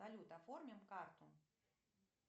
салют оформим карту